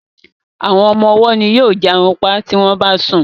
Àwọn ọmọ ọwó ní yóò jarunpa tí wón bá sùn.